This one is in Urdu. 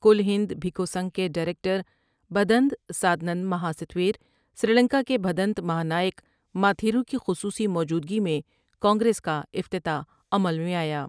کل ہند پھیکو سنگھ کے ڈائر یکٹر بھدنت سادنند مہاستھور سری لنکا کے بھدنت مہا نا ئک ماتھیرو کی خصوصی موجودگی میں کانگریس کا افتتاح عمل میں آیا ۔